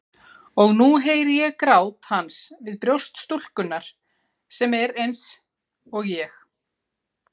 Og nú heyri ég grát hans við brjóst stúlkunnar sem er eins- og ég.